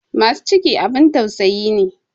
Masu ciki abin tausayi ne.